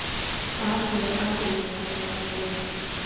Hvað segir Arnbjörg um þessa gagnrýni?